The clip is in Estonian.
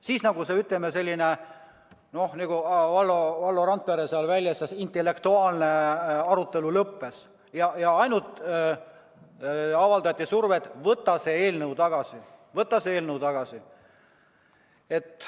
Siis, nagu Valdo Randpere seal väljendas, intellektuaalne arutelu lõppes, ja ainult avaldati survet: võta see eelnõu tagasi, võta see eelnõu tagasi.